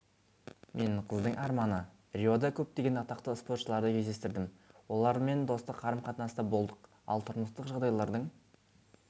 мен қыздың арманы риода көптеген атақты спортшыларды кездестірдім олармен достық қарым-қатынаста болдық ал тұрмыстық жағдайлардың